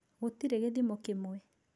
Gũtirĩ gĩthimo kĩmwe.